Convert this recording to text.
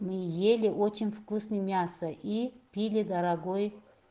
мы ели очень вкусный мясо и пили дорогой